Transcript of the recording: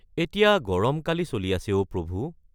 এতিয়া গৰমকালি চলি আছে অ’ প্ৰভু!